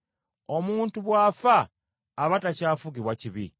Omuntu bw’afa aba takyafugibwa kibi.